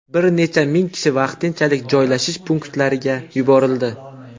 Bir necha ming kishi vaqtinchalik joylashish punktlariga yuborildi.